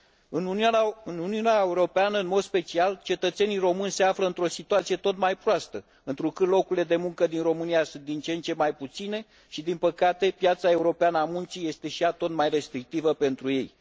În Uniunea Europeană, în mod special, cetățenii români se află într o situație tot mai proastă, întrucât locurile de muncă din România sunt din ce în ce mai puține și, din păcate, piața europeană a muncii este și ea tot mai restrictivă pentru ei.